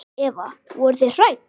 Eva: Voruð þið hrædd?